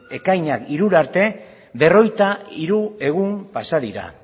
ekainak hirura arte berrogeita hiru egun pasa dira